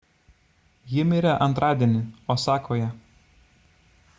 ji mirė antradienį osakoje